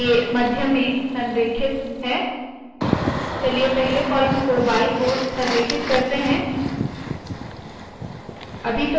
अब ये मध्य में संरेखित है चलिए पहले कॉलम को बायी ओर संरेखित करते है